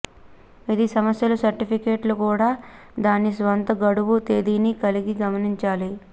ఇది సమస్యలు సర్టిఫికేట్లు కూడా దాని స్వంత గడువు తేదీని కలిగి గమనించాలి